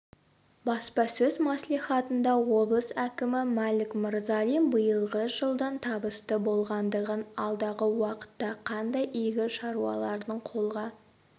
баспасөз мәслихатында облыс әкімі мәлік мырзалин биылғы жылдың табысты болғандығын алдағы уақытта қандай игі шаруалардың қолға